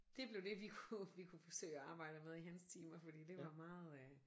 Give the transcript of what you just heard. Det blev det vi kunne vi kunne forsøge at arbejde med i hans timer fordi det var meget øh